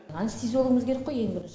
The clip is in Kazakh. анестезиологіміз керек қой ең бірінші